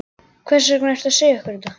Hvers vegna ertu að segja okkur þetta?